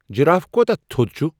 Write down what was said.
Giraffe کوتاہ تھود چُھ ؟